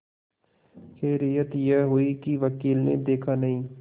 खैरियत यह हुई कि वकील ने देखा नहीं